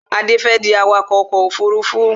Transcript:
Adé fẹ́ di awakọ̀ ọkọ̀ òfurufú